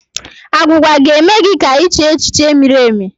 Agwugwa ga-eme gị ka iche echiche miri emi